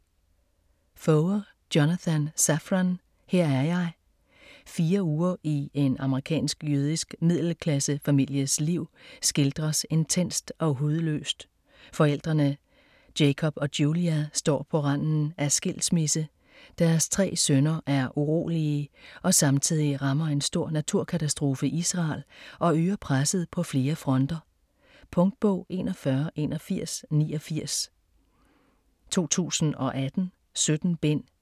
Foer, Jonathan Safran: Her er jeg Fire uger i en amerikansk-jødisk middelklassefamilies liv skildres intenst og hudløst. Forældrene Jacob og Julia står på randen af skilsmisse, deres tre sønner er urolige og samtidig rammer en stor naturkatastrofe Israel og øger presset på flere fronter. Punktbog 418189 2018. 17 bind.